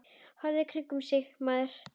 Horfðu í kringum þig, maður.